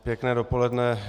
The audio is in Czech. Pěkné dopoledne.